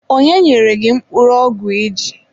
Onye nyere gị mkpụrụ ọgwụ iji?